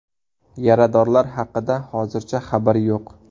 Yaradorlar haqida hozircha xabar yo‘q.